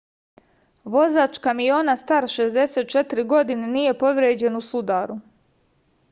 vozač kamiona star 64 godine nije povređen u sudaru